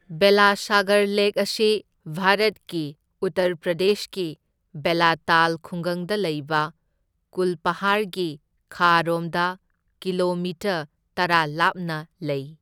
Belasagar lake ꯑꯁꯤ ꯚꯥꯔꯠꯀꯤ ꯎꯠꯇꯔ ꯄ꯭ꯔꯗꯦꯁꯀꯤ ꯕꯦꯂꯥꯇꯥꯜ ꯈꯨꯡꯒꯪꯗ ꯂꯩꯕ ꯀꯨꯜꯄꯍꯥꯔꯒꯤ ꯈꯥꯔꯣꯝꯗ ꯀꯤꯂꯣꯃꯤꯇꯔ ꯇꯔꯥ ꯂꯥꯞꯅ ꯂꯩ꯫